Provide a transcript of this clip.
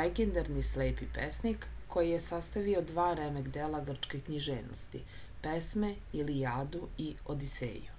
legendarni slepi pesnik koji je sastavio dva remek-dela grčke književnosti pesme ilijadu i odiseju